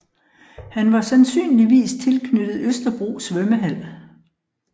Han var sandsynligvis tilknyttet Østerbro Svømmehal